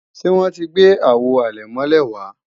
Ṣé wọ́n ti gbé Àwo àlẹ̀mọ́lẹ̀ wá